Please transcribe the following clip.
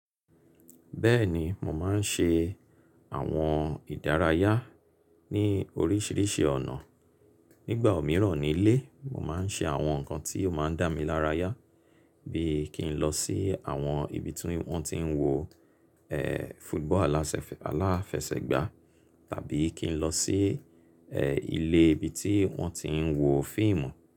Bẹ́ẹ̀ni, mò máa ń ṣe àwọn ìdárayá ní oríṣìíríṣìí ọ̀nà. Ngbà òmíràn nílé, mò máa ń ṣe àwọn nǹkan tí ó máa ń dà mi lárayá bí i kí n lọ sí àwọn ibi tí wọ́n ti ń wo e fútúbọ̀ alasefe, aláfẹsẹ̀gbá tàbí kí n lọ sí e ilé ibi tí wọ́n ti ń wo fíìmù.